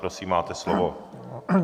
Prosím, máte slovo.